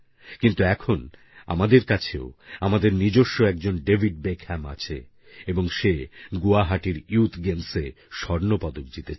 কিন্তু এখন আমাদের কাছেও আমাদের নিজস্ব একজন ডেভিড বেকহ্যাম আছেএবং সে গুয়াহাটির ইয়ুথ গেমসে স্বর্ণপদক জিতেছে